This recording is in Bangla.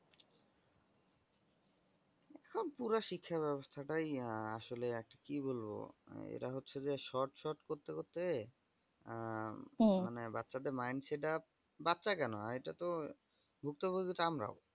উফ পুরো শিক্ষা ব্যবস্থাটাই আসলে কি বলবো এটা হচ্ছে যে short short করতে করতে মানে বাচ্চাদের mind setup বাচ্চা কেনো এটাতো ভুক্তভুগি তো আমরাও।